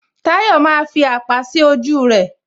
Tayọ maaa fi àpá sí ojú rẹ